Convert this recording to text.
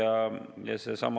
Aitäh, härra eesistuja!